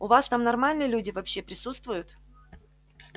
у вас там нормальные люди вообще присутствуют